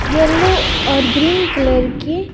yellow और green colour के --